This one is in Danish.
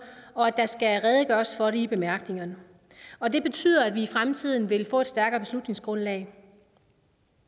og at der skal redegøres for det i bemærkningerne og det betyder at vi i fremtiden vil få et stærkere beslutningsgrundlag